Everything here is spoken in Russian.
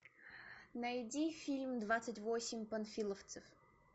найди фильм двадцать восемь панфиловцев